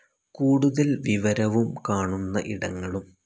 കൂടുതൽ വിവരവും കാണുന്ന ഇടങ്ങളും